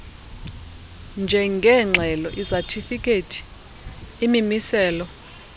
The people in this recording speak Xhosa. njengeengxelo izatifikhethi imimiselo